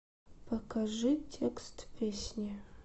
покажи текст песни